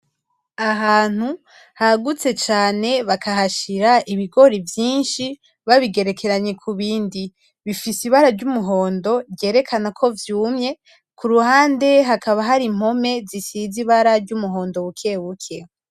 Ahantu hagutse cane bakahashira ibigori vyinshi babigerekeranye kubindi. bifise ibara ry'umuhondo ryerekana ko vyumye kuruhande hakaba hari impome zisize ibara ry'umuhondo bukebuke.